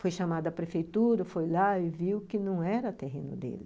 Foi chamado à prefeitura, foi lá e viu que não era o terreno dele.